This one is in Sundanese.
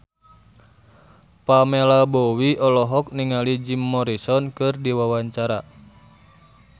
Pamela Bowie olohok ningali Jim Morrison keur diwawancara